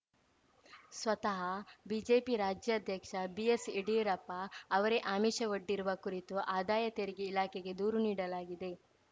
ಸ್ವತಃ ಬಿಜೆಪಿ ರಾಜ್ಯಾಧ್ಯಕ್ಷ ಬಿಎಸ್‌ಯಡಿಯೂರಪ್ಪ ಅವರೇ ಆಮಿಷವೊಡ್ಡಿರುವ ಕುರಿತು ಆದಾಯ ತೆರಿಗೆ ಇಲಾಖೆಗೆ ದೂರು ನೀಡಲಾಗಿದೆ